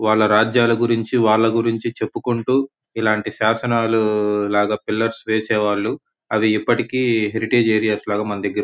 వాళ్ళ రాజ్యాల గురించి వాళ్ళ గురించి చెప్పుకుంటూ ఇలాంటి శాసనాలు లాగ పిల్లర్స్ వేసేవాళ్ళు అవి ఇప్పటికి హెరిటేజ్ ఏరియాస్ లాగ మన దగ్గర --